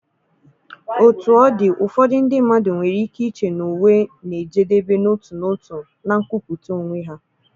Otú ọ dị, ụfọdụ ndị mmadụ nwere ike iche na uwe na-ejedebe n'otu n'otu na nkwupụta onwe ha.